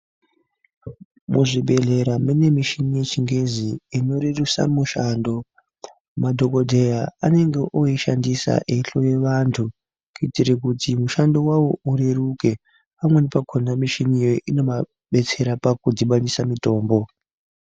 Muzvibhehlera mune michini yechingezi inorerusa mushando. Madhogodheya anenge ooishandisa eihloye vantu kuitire kuti mushando wavo ureruke. Pamweni pakona mishini iyoyo inomadetsera pakudhibanise mitombo.